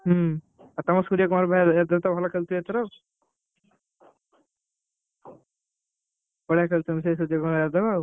ହୁଁ ଆଉ ତମର ସୂର୍ୟକୁମାର ୟାଦବ ତ ଭଲ ଖେଳୁଛି ଏଥର ବଢିଆ ଖେଳୁଛନ୍ତି ସେ ସୂର୍ୟ କୁମାର ୟାଦବ।